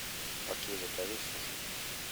окей закажи суши